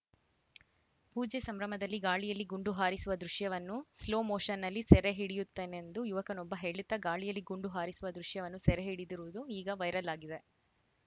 ಪೂಜೆ ಸಂಭ್ರಮದಲ್ಲಿ ಗಾಳಿಯಲ್ಲಿ ಗುಂಡು ಹಾರಿಸುವ ದೃಶ್ಯವನ್ನೂ ಸ್ಲೋ ಮೋಷನ್‌ನಲ್ಲಿ ಸೆರೆ ಹಿಡಿಯುತ್ತೇನೆಂದು ಯುವಕನೊಬ್ಬ ಹೇಳುತ್ತಾ ಗಾಳಿಯಲ್ಲಿ ಗುಂಡು ಹಾರಿಸುವ ದೃಶ್ಯವನ್ನು ಸೆರೆ ಹಿಡಿದಿರುವುದೂ ಈಗ ವೈರಲ್‌ ಆಗಿದೆ